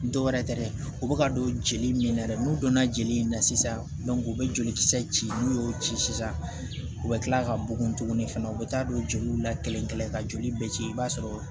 Dɔwɛrɛ tɛ dɛ u bɛ ka don jeli min na dɛ n'u donna jeli in na sisan u bɛ joli kisɛ ci n'u y'o ci sisan u bɛ tila ka bugun tuguni fana u bɛ taa don joliw la kelen ka joli bɛ ci i b'a sɔrɔ